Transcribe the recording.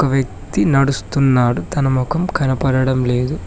వ్యక్తి నడుస్తున్నాడు తన మొఖం కనపడడం లేదు.